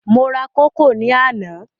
Mo ra kókò ní àná.